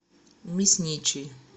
мясничий